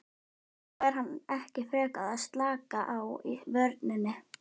Eða fær hann ekki frekar að slaka á í vörninni?